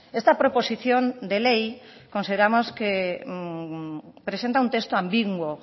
esta proposición de ley consideramos que presenta un texto ambiguo